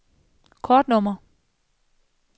kortnummer